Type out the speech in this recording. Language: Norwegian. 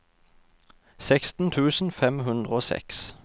seksten tusen fem hundre og seks